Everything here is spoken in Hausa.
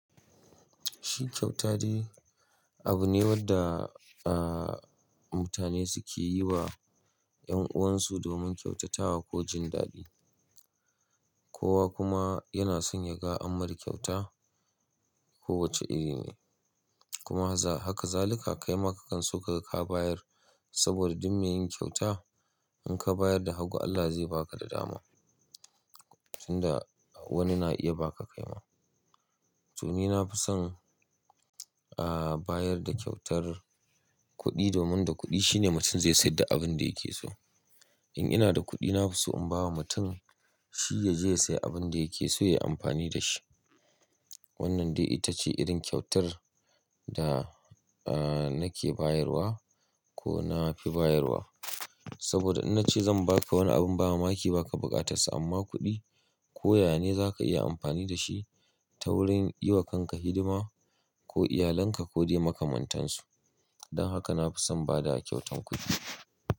Shi kyauta dai abu ne wadda mutane suke yiwa 'yan uwansu domin kyautatawa ko jin daɗi. Kowa kuma yana son ya ga an mar kyauta ko wace irin ne. Kuma haka zalika kaima kakan so ka bayar saboda duk me yin kyauta in ka bayar da hagu Allah zai ba ka da dama. Tun da wani na iya ba ka kaima. To ni na fi son ah bayar da kyautar kuɗi domin da kuɗi shine mutum zai sai duk da abin da yake so. In ina da kuɗi na fi so in bawa mutum shi ya je ya sayi abin da yake so ya yi amfani da shi. Wannan dai ita ce irin kyautar da nake bayarwa ko na fi bayarwa. Saboda in na ce zan ba ka wani abin ba mamaki ba ka buƙatar sa amma kuɗi ko yane za ka iya amfani da shi ta wurin yi wa kanka hidima ko iyalanka ko dai makamantan su. Don haka na fi son ba da kyautan kuɗi.